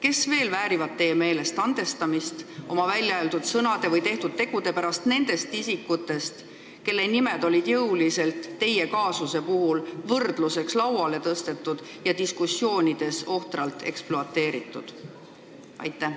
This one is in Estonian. Kes veel väärivad teie meelest andestamist oma väljaöeldud sõnade või tehtud tegude pärast nendest isikutest, kelle nimed on teie kaasuse puhul võrdluseks jõuliselt lauale tõstetud ja diskussioonides ohtralt ekspluateeritud?